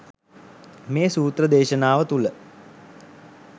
මේ සූත්‍ර දේශනාව තුළ